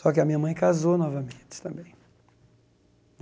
Só que a minha mãe casou novamente também.